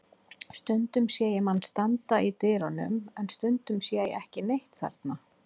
Stundum sé ég mann standa í dyrunum en stundum sé ég ekki neitt þarna.